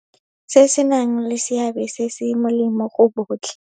Se se nang le seabe se se molemo go botlhe.